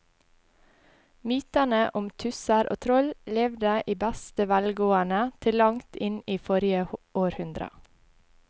Mytene om tusser og troll levde i beste velgående til langt inn i forrige århundre.